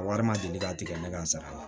Wari ma deli ka tigɛ ne ka n sara la